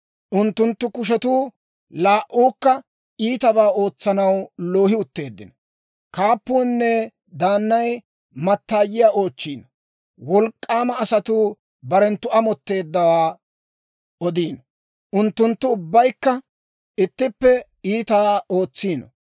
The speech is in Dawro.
Unttunttu kushetuu laa"uukka iitabaa ootsanaw loohi utteeddino. Kaappuunne daannay mattaayiyaa oochchiino; wolk'k'aama asatuu barenttu amotteeddawaa odiino; unttunttu ubbaykka ittippe iitaa ootsiino.